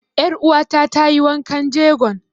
Ƴar uwa ta ta yi wankan jegon.